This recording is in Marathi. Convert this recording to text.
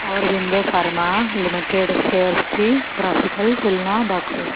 ऑरबिंदो फार्मा लिमिटेड शेअर्स ची ग्राफिकल तुलना दाखव